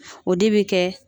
O de bɛ kɛ